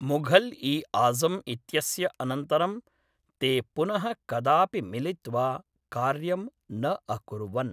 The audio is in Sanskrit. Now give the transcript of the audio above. मुघल् ई आज़म् इत्यस्य अनन्तरं ते पुनः कदापि मिलित्वा कार्यं न अकुर्वन्।